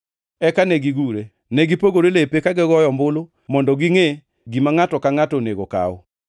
Eka negigure. Ne gipogore lepe, ka gigoyo ombulu mondo gingʼe gima ngʼato ka ngʼato onego okaw.